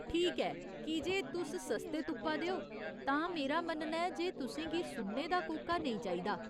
ठीक ऐ, की जे तुस सस्ते तुप्पा दे ओ, तां मेरा मन्नना ऐ जे तुसें गी सुन्ने दा कोका नेईं चाहिदा।